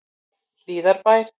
Hlíðarbæ